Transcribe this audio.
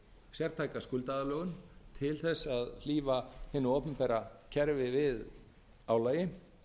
sértæka skuldaaðlögun til þess að hlífa hinu opinbera kerfi við álagi